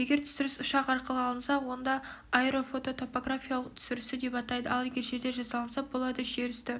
егер түсіріс ұшақ арқылы алынса онда аэорфототопографиялық түсірісі деп атайды ал егер жерде жасалынса бұл әдіс жер үсті